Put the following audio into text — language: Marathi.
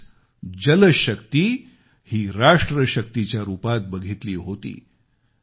त्यांनीच जलशक्ती ही राष्ट्र शक्तीच्या रुपात बघितली होती